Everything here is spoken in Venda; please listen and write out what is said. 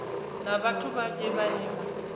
na vhathu vhanzhi vhane vha